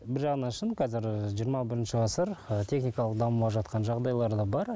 бір жағынан шын қазір жиырма бірінші ғасыр ы техникалық дамымай жатқан жағдайлары да бар